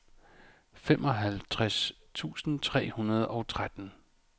femoghalvtreds tusind tre hundrede og tretten